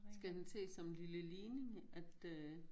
Skal den ses som en lille ligning at øh